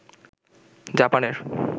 জাপানের